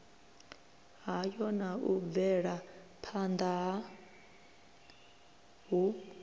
hayo na u bvelaphanda hu